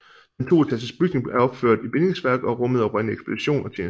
Den toetages bygning er opført i bindingsværk og rummede oprindeligt ekspedition og tjenestebolig